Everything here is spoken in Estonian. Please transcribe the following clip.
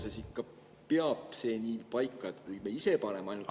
Kas see peab ikka paika – kui me ise paneme ainult …